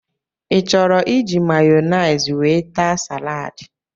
I chọrọ iji Mayonaise wee taa salaadi?